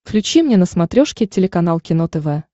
включи мне на смотрешке телеканал кино тв